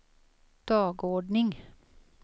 dagordning